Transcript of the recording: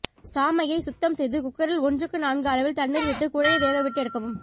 சாமையை சுத்தம் செய்து குக்கரில் ஒன்றுக்கு நான்கு அளவில் தண்ணீர் விட்டு குழைய வேகவிட்டு எடுக்கவும்